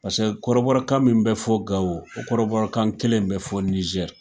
Pase kɔrɔbɔrɔkan min bɛ fɔ Gao, o kɔrɔbɔrɔkan kelen bɛ fɔ Niger.